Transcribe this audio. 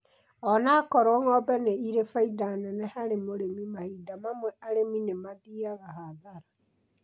Ona okorwo ng'ombe nĩ irĩ faida neneharĩ mũrĩmi mahinda mamwe arĩmi nĩ mathiaga hathara